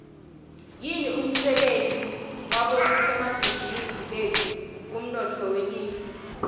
yini umsebenti wabosomabhizimisi betfu kumnotfo welive